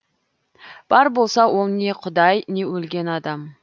бар болса ол не құдай не өлген адам